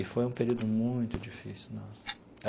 E foi um período muito difícil, nossa.